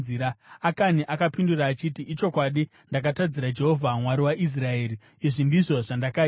Akani akapindura achiti, “Ichokwadi! Ndakatadzira Jehovha, Mwari waIsraeri. Izvi ndizvo zvandakaita: